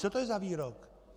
Co to je za výrok?